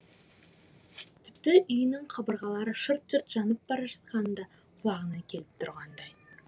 тіпті үйінің қабырғалары шырт шырт жанып бара жатқаны да құлағына келіп тұрғандай